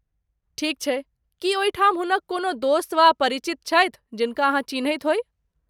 ठीक छै, की ओहिठाम हुनक कोनो दोस्त वा परिचित छथि, जिनका अहाँ चिन्हैत होइ?